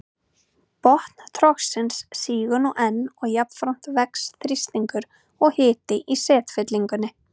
Botn trogsins sígur nú enn og jafnframt vex þrýstingur og hiti í setfyllingunni.